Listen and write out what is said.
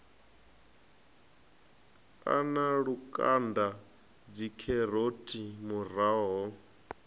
a na lukanda dzikheroti muroho